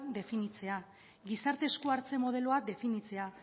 definitzea gizarte esku hartze modeloa definitzea